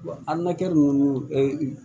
Wa a nakɛ nunnu